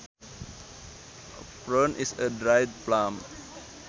A prune is a dried plum